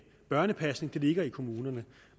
børnepasning ligger i kommunerne